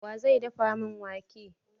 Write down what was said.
Wa zai dafa min wake?